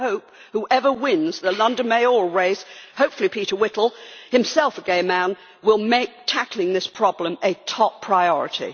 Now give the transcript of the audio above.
I hope whoever wins the London mayoral race hopefully Peter Whittle, himself a gay man will make tackling this problem a top priority.